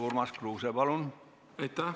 Urmas Kruuse, palun!